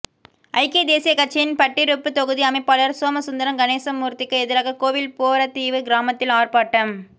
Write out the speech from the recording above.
ஐக்கிய தேசியக் கட்சியின் பட்டிருப்புத் தொகுதி அமைப்பாளர் சோமசுந்தரம் கணேசமூர்த்திக்கு எதிராக கோவில் போரதீவுக் கிராமத்தில் ஆர்ப்பாட்டம்